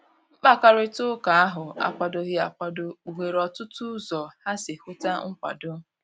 Mkpakarita ụka ahu akwadoghi akwado, kpuhere otụtụ ụzọ ha si huta nkwado.